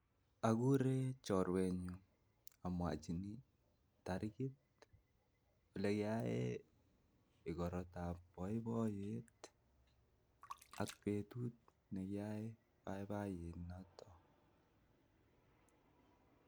Akuree chorwenyun amwachin tarikit olekiyaen igortab boiboiyet, ak betut nekiyoe boiboiyonitok.